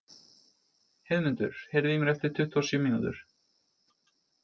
Heiðmundur, heyrðu í mér eftir tuttugu og sjö mínútur.